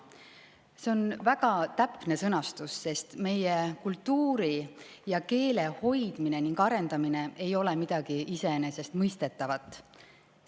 See on väga täpne sõnastus, sest meie kultuuri ja keele hoidmine ning arendamine ei ole midagi iseenesestmõistetavat.